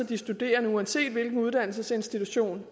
de studerende uanset hvilken uddannelsesinstitution